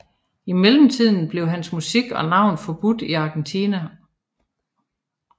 I mellemtiden blev hans musik og navn forbudt i Argentina